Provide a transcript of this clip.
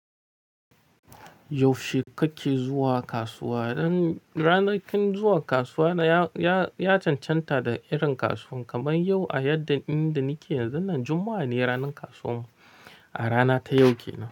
Yaushe kake zuwa kasuwa? Rana kun zuwa kasuwa na ya cancanta da irin kasuwar. Kamar yau a yadda inda nike yanzun nan juma'a ne ranar kasuwar mu a rana ta yau kenan.